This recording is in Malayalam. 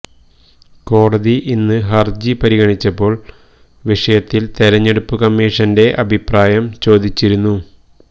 കോടതി ഇന്ന് ഹർജി പരിഗണിച്ചപ്പോൾ വിഷയത്തിൽ തെരഞ്ഞെടുപ്പ് കമ്മീഷന്റെ അഭിപ്രായം ചോദിച്ചിരുന്നു